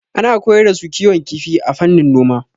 Ana koyar da su kiwon kifi a fannin noma.